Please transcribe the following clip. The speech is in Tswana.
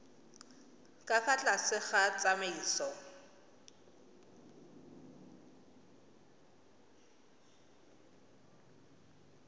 ka fa tlase ga tsamaiso